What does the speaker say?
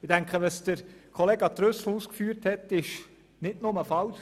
Ich denke, die Ausführungen von Grossrat Trüssel sind nicht nur falsch.